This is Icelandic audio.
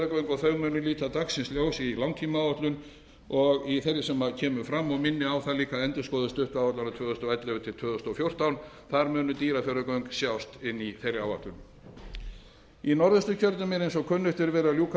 og þau munu líta dagsins ljós í langtímaáætlun þeirri sem kemur fram og minni á það líka að endurskoðuð áætlunar tvö þúsund og ellefu til tvö þúsund og fjórtán þar munu dýrafjarðargöng sjást inni í þeirri áætlun í norðausturkjördæmi er eins og kunnugt er verið að